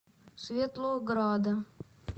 светлограда